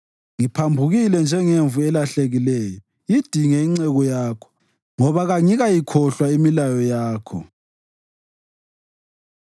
Kangiphile ukuze ngikudumise, sengathi njalo lemithetho yakho ingangisekela.